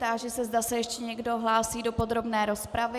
Táži se, zda se ještě někdo hlásí do podrobné rozpravy.